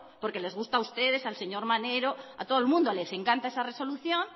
porque les gusta a ustedes al señor maneiro a todo el mundo les encanta esa resolución